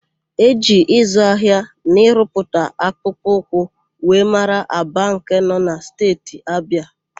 E ji ịzụ ahịa na ịrụpụta akpụkpọ ụkwụ wee mara Aba nke nọ na Steeti Abịa.